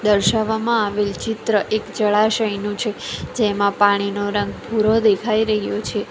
દર્શાવવામાં આવેલ ચિત્ર એક જળાશયનું છે જેમાં પાણીનો રંગ ભૂરો દેખાઈ રહ્યો છે.